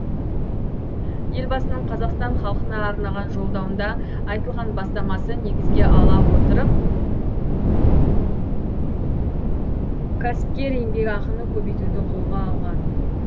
елбасының қазақстан халқына арнаған жолдауында айтылған бастамасы негізге ала отырып кәсіпкер еңбекақыны көбейтуді қолға алған